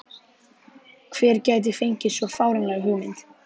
Hver gæti fengið svo fáránlega hugmynd?